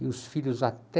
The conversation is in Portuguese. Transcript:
E os filhos até...